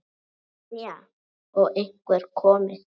Brynja: Og einhver komið?